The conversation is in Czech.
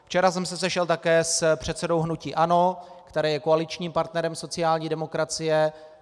Včera jsem se sešel také s předsedou hnutí ANO, které je koaličním partnerem sociální demokracie.